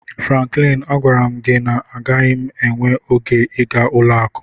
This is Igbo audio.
Franklin, agwara m gị na agaghị m enwe oge ịga ụlọ akụ